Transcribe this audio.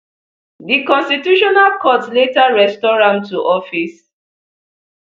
di constitutional court later restore am to office